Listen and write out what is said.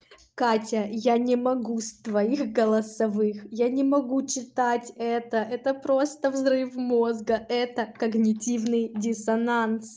катя я не могу с твоих голосовых я не могу читать это это просто взрыв мозга это когнитивный диссонанс